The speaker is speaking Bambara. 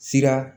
Sira